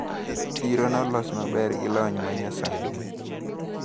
Chiro nolos maber gi lony ma nyasani.